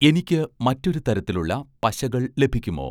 എനിക്ക് മറ്റൊരു തരത്തിലുള്ള പശകൾ ലഭിക്കുമോ?